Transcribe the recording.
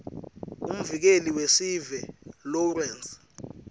umvikeli wesive lawrence